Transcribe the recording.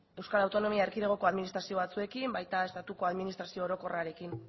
euskal autonomia erkidegoko administrazio batzuekin baita estatuko administrazio orokorrarekin